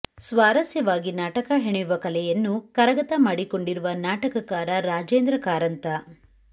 ಸ್ವಾರಸ್ಯವಾಗಿ ನಾಟಕ ಹೆಣೆಯುವ ಕಲೆಯನ್ನು ಕರಗತ ಮಾಡಿಕೊಂಡಿರುವ ನಾಟಕಕಾರ ರಾಜೇಂದ್ರ ಕಾರಂತ